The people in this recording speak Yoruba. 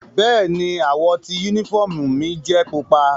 Bẹ́ẹ̀ni, àwọ ti unifọmú mi jẹ pupa.